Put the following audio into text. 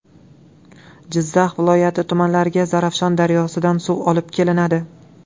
Jizzax viloyati tumanlariga Zarafshon daryosidan suv olib kelinadi.